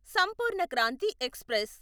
Sampoorna Kranti express